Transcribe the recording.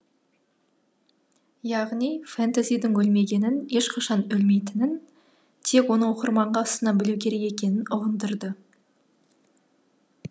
яғни фэнтезидің өлмегенін ешқашан өлмейтінін тек оны оқырманға ұсына білу керек екенін ұғындырды